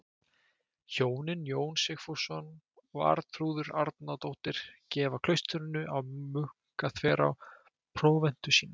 Hjónin Jón Sigfússon og Arnþrúður Árnadóttir gefa klaustrinu á Munkaþverá próventu sína.